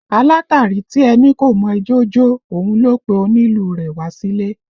Alátàrí tí ẹ ní kò mọ ijó jó, òun ló pe onílù rẹ wá sílè